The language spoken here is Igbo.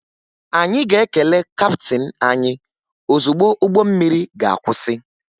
Anyị ga-ekele kaptịn anyị ozugbo ụgbọ mmiri ga-akwụsị